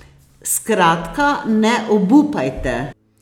Skratka ne obupajte.